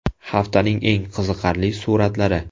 Haftaning eng qiziqarli suratlari.